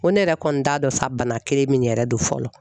N ko ne yɛrɛ kɔni t'a dɔn fa bana kelen min yɛrɛ don fɔlɔ